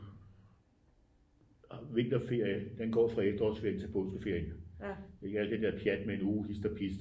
Vinterferie den går fra efterårsferien til påskeferien ikke alt det der pjat med en uge hist og pist